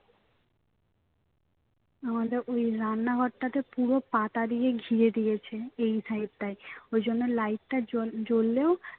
আমাদের ওই রান্নাঘরটাতে পুরো পাতা দিয়ে ঘিরে দিয়েছে এই side টায় ঐজন্য light টা জ্বল~ জ্বললেও